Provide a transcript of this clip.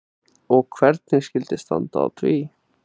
Og hvernig skyldi standa á því?